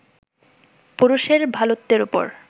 পুরুষের ভালোত্বের ওপর